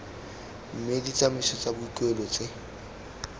mme ditsamaiso tsa boikuelo tse